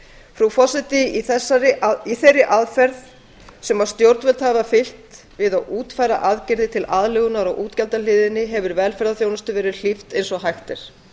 frú forseti í þeirri aðferð sem stjórnvöld hafa fylgt við að útfæra aðgerðir til aðlögunar á útgjaldahliðinni hefur velferðarþjónustu verið hlíft eins og hægt er